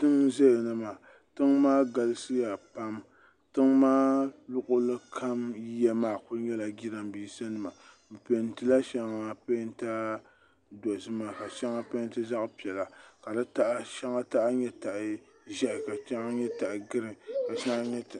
tiŋ n ʒɛya na maa tiŋ maa galisiya pam tiŋ maa yiya maa luɣuli kam ku nyɛla jiranbiisa nima bi peentila shɛŋa peenta dozima ka shɛŋa peenti zaɣ piɛla ka shɛŋa taha nyɛ taha ʒiɛhi ka shɛŋa nyɛ taha giriin